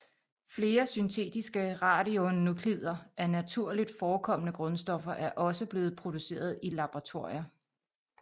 Flere syntetiske radionuklider af naturligt forekommende grundstoffer er også blevet produceret i laboratorier